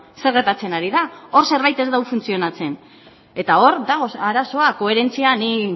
zer gertatzen ari da hor zerbait ez du funtzionatzen eta hor dago arazoa koherentzia ni